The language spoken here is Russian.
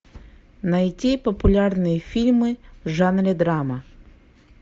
найти популярные фильмы в жанре драма